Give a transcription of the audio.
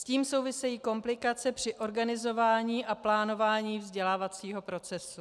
S tím souvisejí komplikace při organizování a plánování vzdělávacího procesu.